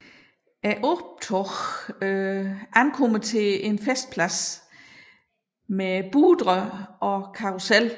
Optoget ankommer til en festplads med boder og karrusel